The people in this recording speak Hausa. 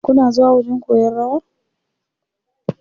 Kuna zuwa wajen koyan rawa.